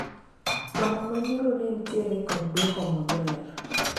romo manyoro ne nitiere kod dwoko maber